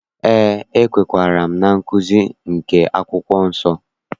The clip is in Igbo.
Eé, ekwenyere m na nkụzi nke akwụkwọ nsọ.